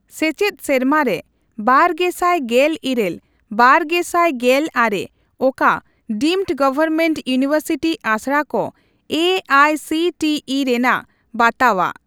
ᱥᱮᱪᱮᱫ ᱥᱮᱨᱢᱟᱨᱮ ᱵᱟᱨᱜᱮᱥᱟᱭ ᱜᱮᱞ ᱤᱨᱟᱹᱞᱼ ᱵᱵᱟᱨᱜᱮᱥᱟᱭ ᱜᱮᱞ ᱟᱨᱮ ᱚᱠᱟ ᱰᱤᱢᱰ ᱜᱚᱣᱚᱨᱢᱮᱱᱴ ᱤᱭᱩᱱᱤᱣᱮᱨᱥᱤᱴᱤ ᱟᱥᱲᱟ ᱠᱚ A I C T E ᱨᱮᱱᱟᱜ ᱵᱟᱛᱟᱣᱟᱜ ?